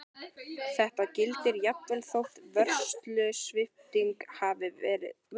Þetta gildir jafnvel þótt vörslusvipting hafi farið fram.